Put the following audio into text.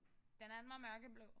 Den anden var mørkeblå